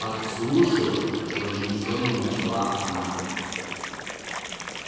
подслушивать возмущённо начала она